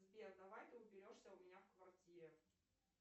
сбер давай ты уберешься у меня в квартире